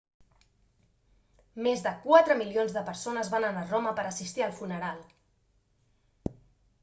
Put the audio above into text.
més de quatre milions de persones van anar a roma per a assistir al funeral